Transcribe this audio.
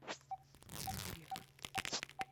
грех